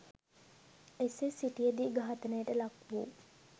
එසේ සිටියදී ඝාතනයට ලක්‌වූ